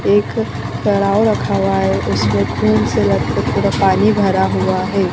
एक डरावा रखा हुआ है उसमें ख़ून से लटपट थोड़ा पानी भरा हुआ है